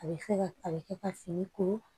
A bɛ fɛ ka a bɛ kɛ ka fini ko